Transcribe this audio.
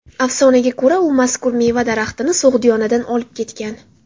Afsonaga ko‘ra, u mazkur meva daraxtini So‘g‘diyonadan olib ketgan.